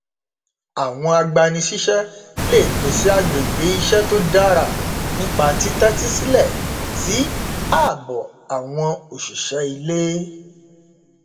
àwọn agbanisíṣẹ lè pèsè agbègbè iṣẹ tó dára nípa títẹtí sílẹ sí ààbọ àwọn òṣìṣẹ iulé